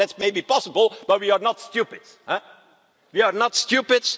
in. Well, that may be possible, but we are not stupid.